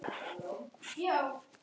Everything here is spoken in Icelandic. Birgir Hafst.